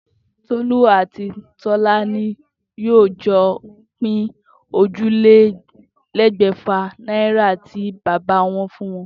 Tolú àti Tó̩lá ni yóò jo̩ pín ójìlélé̩gbè̩fà náírà tí bàbá wo̩n fún wo̩n